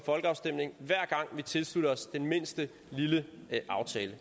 folkeafstemning hver gang vi tilslutter os den mindste lille aftale